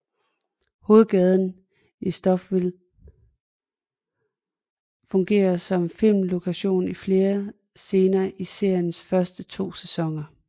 Hovedgaden i Stouffville fungerede som filmlokation i flere scener i seriens første to sæsoner